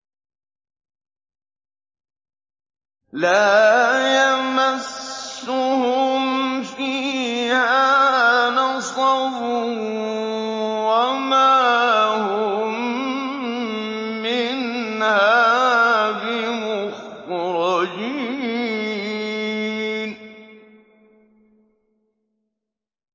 لَا يَمَسُّهُمْ فِيهَا نَصَبٌ وَمَا هُم مِّنْهَا بِمُخْرَجِينَ